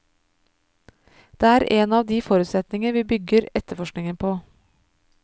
Det er en av de forutsetninger vi bygger etterforskningen på.